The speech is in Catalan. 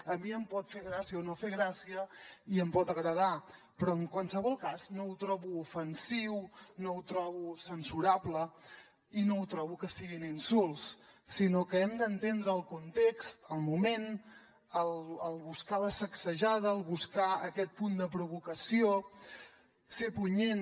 a mi em pot fer gràcia o no fer gràcia i em pot no agradar però en qualsevol cas no ho trobo ofensiu no ho trobo censurable i no trobo que siguin insults sinó que hem d’entendre el context el moment el buscar la sacsejada el buscar aquest punt de provocació ser punyent